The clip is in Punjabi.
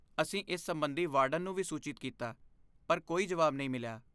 ਅਸੀਂ ਇਸ ਸਬੰਧੀ ਵਾਰਡਨ ਨੂੰ ਵੀ ਸੂਚਿਤ ਕੀਤਾ ਪਰ ਕੋਈ ਜਵਾਬ ਨਹੀਂ ਮਿਲਿਆ।